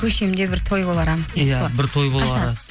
көшемде бір той болары анық дейсіз ғой иә бір той болары қашан